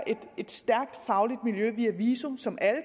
et stærkt fagligt miljø via viso som alle